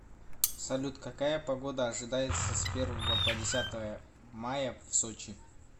салют какая погода ожидается с первого по десятое мая в сочи